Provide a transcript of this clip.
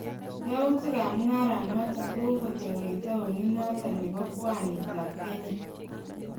Yautik ab mung'aaranoton kogogotook en taonit noton nebo bwanit ab Kenya.